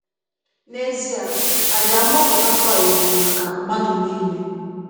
N’ezie, àjà mgbapụta Kraịst bụ maka mmadụ niile.